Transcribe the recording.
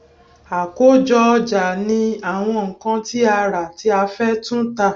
àkójọ ọjà ní àwọn nǹkan tí a rà tí a fẹ tún tà